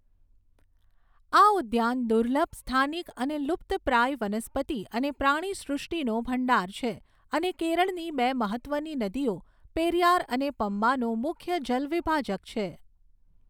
આ ઉદ્યાન દુર્લભ, સ્થાનિક અને લુપ્તપ્રાય વનસ્પતિ અને પ્રાણીસૃષ્ટિનો ભંડાર છે અને કેરળની બે મહત્ત્વની નદીઓ પેરિયાર અને પમ્બાનું મુખ્ય જલવિભાજક છે.